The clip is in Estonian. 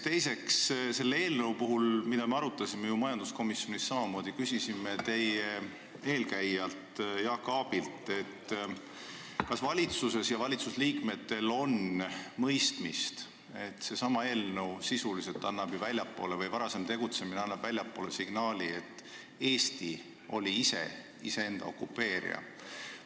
Teiseks, seda eelnõu majanduskomisjonis arutades me samamoodi küsisime teie eelkäijalt Jaak Aabilt, kas valitsuses on mõistmist, et see eelnõu sisuliselt annab väljapoole signaali, et Eesti oli ise enda okupeerija.